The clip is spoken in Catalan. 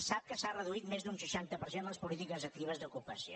sap que s’ha reduït més d’un seixanta per cent les polítiques actives d’ocupació